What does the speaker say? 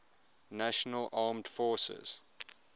national armed forces